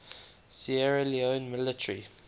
sierra leone military